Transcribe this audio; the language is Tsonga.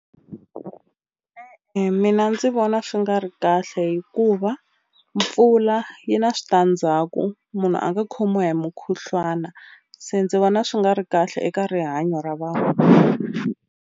mina ndzi vona swi nga ri kahle hikuva mpfula yi na switandzhaku munhu a nga khomiwa hi mukhuhlwana se ndzi vona swi nga ri kahle eka rihanyo ra vanhu.